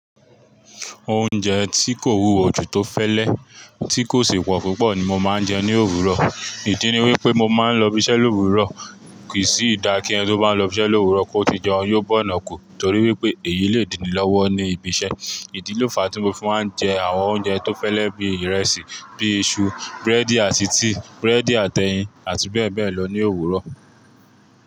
Oúnjẹ tí kò wúwo ju tó fẹ́lẹ́, tí kò si pọ̀ púpọ̀ ni mo máa ń jẹ ní òwúrọ̀. Ìdí ni wípé mo máa ń lọ ibi iṣẹ́ l'òwúrọ̀. Kì í sì dá kí ẹni tó bá ń lọ ibi iṣẹ́ l'òwúrọ̀ kó ti jẹun, yóò bọ́na kù. Nítorí wípé èyí le díni lọ́wọ́ ní ibi iṣẹ́. Ìdí ló fà á tí mo fi máa ń jẹ àwọn oúnjẹ tó fẹ́lẹ́ bí ìrẹsì, bí i iṣu, búrẹ́dì àti tíì, búrẹ́dì àtẹyin àti bẹ́ẹ̀ bẹ́ẹ̀ lọ ní òwúrọ̀.